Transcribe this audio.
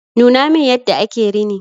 Nuna min yadda ake rini.